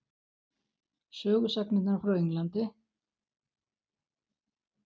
Sögusagnirnar frá Englandi?